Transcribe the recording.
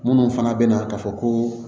Minnu fana bɛ na ka fɔ ko